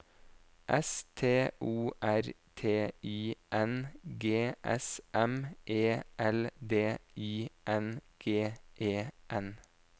S T O R T I N G S M E L D I N G E N